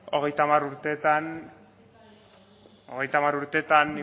gu ez gara hogeita hamar urtetan